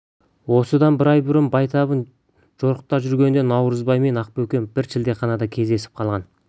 осыдан бір ай бұрын байтабын жорықта жүргенінде наурызбай мен ақбөкен бір шілдеханада кездесіп қалған